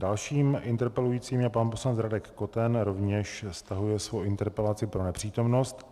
Dalším interpelujícím je pan poslanec Radek Koten, rovněž stahuje svou interpelaci pro nepřítomnost.